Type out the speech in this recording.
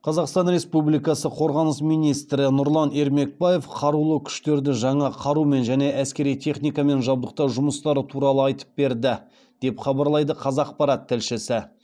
қазақстан республикасы қорғаныс министрі нұрлан ермекбаев қарулы күштерді жаңа қарумен және әскери техникамен жабдықтау жұмыстары туралы айтып берді деп хабарлайды қазақпарат тілшісі